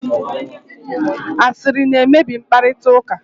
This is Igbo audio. asịrị na-emebi mkparịta ụka